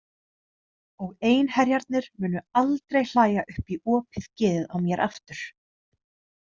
Og einherjarnir munu aldrei hlæja upp í opið geðið á mér aftur.